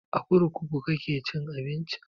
A kurkuku kuke cin abinci?